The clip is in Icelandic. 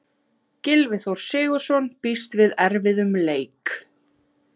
Gylfi Þór Sigurðsson býst við erfiðum leik.